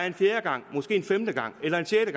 en fjerde gang en femte gang eller en sjette